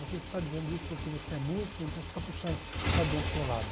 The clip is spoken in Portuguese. Você está dizendo isso porque você é músico, então você está puxando o sardinha para o seu lado.